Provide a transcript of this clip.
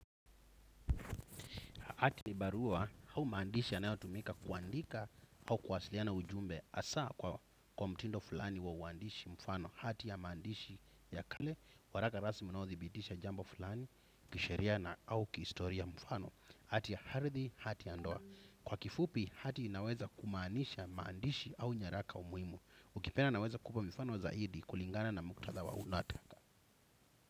Ati barua au maandishi yanayotumika kuandika au kuwasiliana ujumbe hasaa kwa mtindo fulani wa uandishi mfano hati ya maandishi ya kale, waraka rasmi unaothibidisha jambo fulani kisheria au kihistoria mfano hati ya ardhi, hati ya ndoa. Kwa kifupi hati inaweza kumaanisha maandishi au nyaraka muhimu. Ukipenda naweza kupa mifano zaidi kulingana na mkutadha wa.